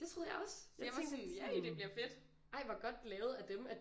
Det troede jeg også jeg tænkte at sådan ej hvor godt lavet af dem at